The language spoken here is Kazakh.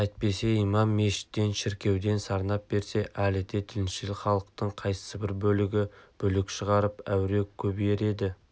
әйтпесе имам мешіттен шіркеуден сарнап берсе әлі де діншіл халықтың қайсыбір бөлігі бүлік шығарып әуре көбейер еді